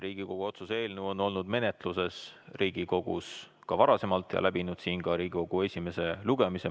Riigikogu otsuse eelnõu on olnud Riigikogus menetluses ka varasemalt ja läbinud siin esimese lugemise.